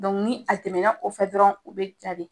ni a tɛmɛna o fɛ dɔrɔn u bɛ ja de.